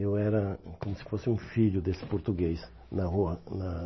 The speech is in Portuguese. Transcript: Eu era como se fosse um filho desse português na rua na